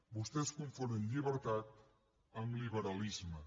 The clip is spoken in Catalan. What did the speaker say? vostès confonen llibertat amb liberalisme